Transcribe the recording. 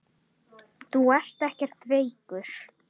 Þú ert ekkert veikur.